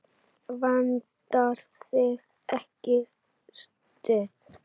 Vantar þig ekki stuð?